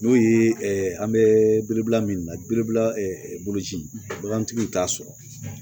N'o ye an bɛ biribila min na boloci bagantigiw t'a sɔrɔ